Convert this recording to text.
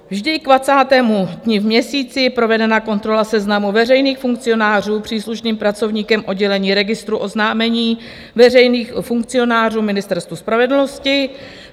Vždy k 20. dni v měsíci je provedena kontrola seznamu veřejných funkcionářů příslušným pracovníkem oddělení registru oznámení veřejných funkcionářů Ministerstvu spravedlnosti.